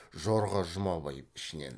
жорға жұмабай ішінен